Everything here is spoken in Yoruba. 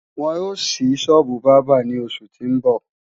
Wọn ó ṣí sọ́ọ́bù bábà ní oṣù tí ń bọ̀